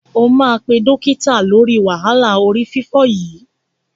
O máa pé dọ́kítà lóri wàhálà orí fífọ́ yìí.